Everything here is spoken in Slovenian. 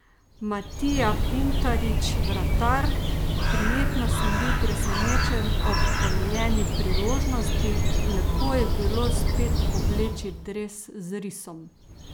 Matija Pintarič, vratar: "Prijetno sem bil presenečen ob ponujeni priložnosti, lepo je bilo spet obleči dres z risom.